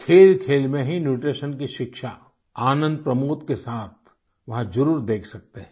खेलखेल में ही न्यूट्रीशन की शिक्षा आनंदप्रमोद के साथ वहां जरुर देख सकते हैं